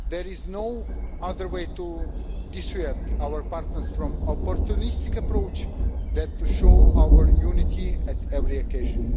There is no other way to dissuade our partners from an opportunistic approach than to show our unity at every occasion.